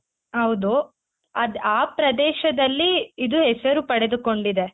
ಹೌದು ಅದ್ ಆ ಪ್ರದೇಶದಲ್ಲಿ ಇದು ಹೆಸರು ಪಡೆದುಕೊಂಡಿದೆ.